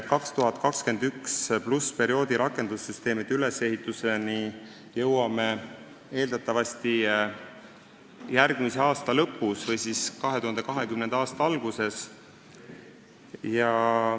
2021+ perioodi rakendussüsteemide ülesehituseni jõuame eeldatavasti järgmise aasta lõpus või 2020. aasta alguses.